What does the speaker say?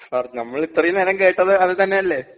Sir നമ്മളിത്രയും നേരം കേട്ടത് അത് തന്നെയല്ലേ?